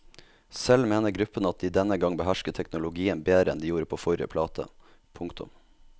Selv mener gruppen at de denne gang behersker teknologien bedre enn de gjorde på forrige plate. punktum